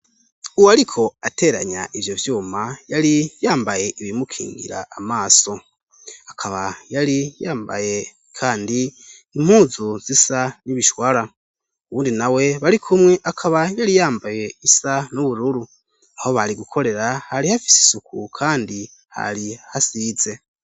Uwariko ateranya ivyo vyuma yari yambaye ibimukingira amaso akaba yari yambaye kandi impuzu zisa n'ibishwara uwundi na we barikumwe akaba yari yambaye isa n'ubururu aho bari gukorera hari hafise isuku kandi hari hasize.